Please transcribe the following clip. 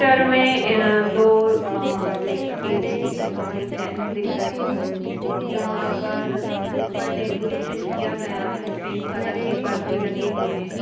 Picture में दो अ ले एक लेडीज और एक जेंट्स दिख रहे हैं जहां पर ऊपर डेकोरेशन किया गया है पिंक कलर के परदे लगे हुए है।